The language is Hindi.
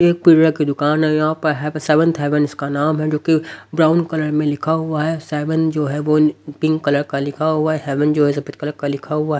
ये एक पीडर की दुकान है यहां पर ह सेवंथ हेवन इसका नाम है जो कि ब्राउन कलर में लिखा हुआ है सेवन जो है वो पिंक कलर का लिखा हुआ है हेवन जो है सफेद कलर का लिखा हुआ है।